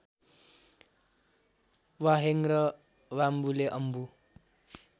वाहेङ र वाम्बुले अम्बु